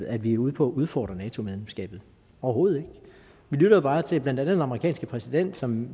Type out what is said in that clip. at vi er ude på at udfordre nato medlemskabet overhovedet ikke vi lytter bare til blandt andet den amerikanske præsident som